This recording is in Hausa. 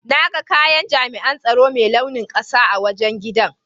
Na ga kayan jami'in tsaro Mai launin ƙasa a wajen giɗan.